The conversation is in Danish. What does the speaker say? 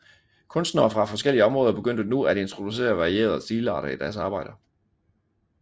Kunstnere fra forskellige områder begyndte nu at introducere varierede stilarter i deres arbejder